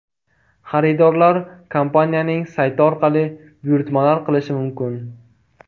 Xaridorlar kompaniyaning sayti orqali buyurtma qilishlari mumkin.